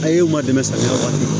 A ye u ma dɛmɛ samiya kɔnɔ